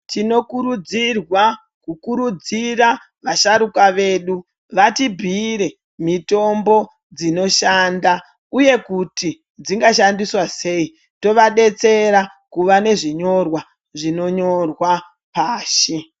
Tinokurudzirwa ,kukurudzira vasharukwa vedu vati bhiyire mitombo dzinoshanda ,uye kuti dzingashandiswa seyi tovadetsera kuva nezvinyorwa zvinonyorwa pashi.